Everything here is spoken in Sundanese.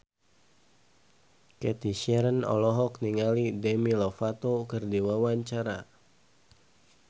Cathy Sharon olohok ningali Demi Lovato keur diwawancara